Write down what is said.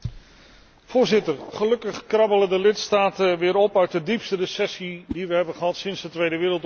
Voorzitter, gelukkig krabbelen de lidstaten weer op uit de diepste recessie die we hebben gehad sinds de Tweede Wereldoorlog.